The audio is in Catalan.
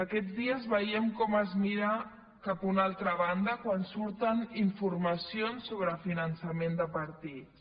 aquests dies veiem com es mira cap a una altra banda quan surten informacions sobre finançament de partits